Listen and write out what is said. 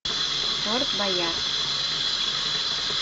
форт боярд